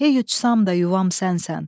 Hey uçsam da, yuvam sənsən.